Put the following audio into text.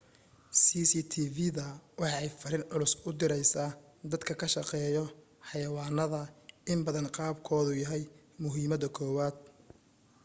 cctv-da waxa ay fariin culus u direysa dadka ka shaqeeyo xayawaanada in bad qabkoodu yahay muhiimada koowaad